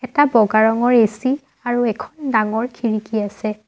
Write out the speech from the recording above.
এটা বগা ৰঙৰ এ_চি আৰু এখন ডাঙৰ খিৰিকী আছে।